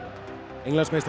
Englandsmeistarar